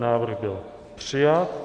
Návrh byl přijat.